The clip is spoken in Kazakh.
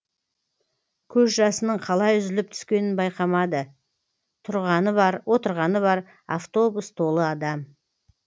көз жасының қалай үзіліп түскенін байқамады тұрғаны бар отырғаны бар автобус толы адам